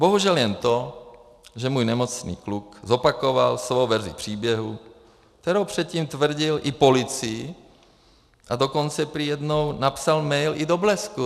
Bohužel jen to, že můj nemocný kluk zopakoval svou verzi příběhu, kterou předtím tvrdil i policii, a dokonce prý jednou napsal mail i do Blesku.